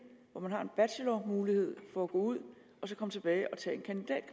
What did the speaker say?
hvor man har en bachelormulighed for at gå ud og så komme tilbage